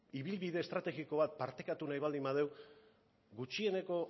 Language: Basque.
ibilbide estrategiko bat partekatu nahi baldin badugu gutxieneko